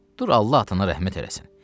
Dur Allah atana rəhmət eləsin.